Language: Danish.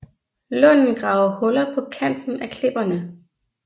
Lunden graver huller på kanten af klipperne